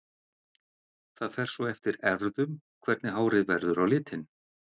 Það fer svo eftir erfðum hvernig hárið verður á litinn.